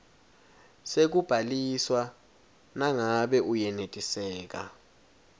sekubhaliswa nangabe uyenetiseka